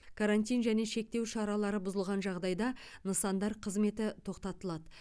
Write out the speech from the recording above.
карантин және шектеу шаралары бұзылған жағдайда нысандар қызметі тоқтатылады